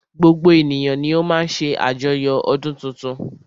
Gbogbo ènìyàn ni o má ń ṣe àjoyo ọdún tuntun.